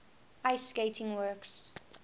ice skating works